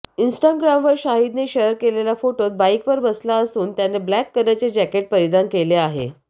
इन्स्टाग्रामवर शाहिदने शेअर केलेल्या फोटोत बाईकवर बसला असून त्याने ब्लॅक कलरचे जॅकेट परिधान केले आहे